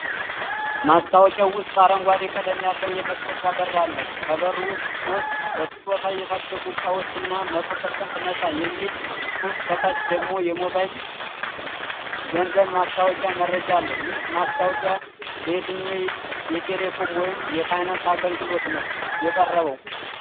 ማስታወቂያው ውስጥ አረንጓዴ ቀለም ያለው የመክፈቻ በር አለ። ከበሩ ውስጥ ሶስት በስጦታ የታሸጉ እቃዎች እና "100% ነፃ" የሚል ፅሁፍ ከታች ደግሞ የሞባይል ገንዘብ ማስተዋወቂያ መረጃ አለ። ይህ ማስታወቂያ ለየትኛው የቴሌኮም ወይም የፋይናንስ አገልግሎት ነው የቀረበው?